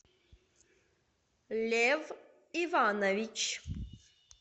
лев иванович